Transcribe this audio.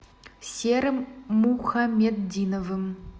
серым мухаметдиновым